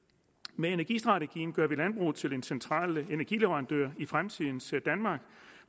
med energistrategien gør vi landbruget til en central energileverandører i fremtidens danmark